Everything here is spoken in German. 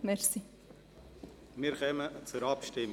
Wir kommen zur Abstimmung.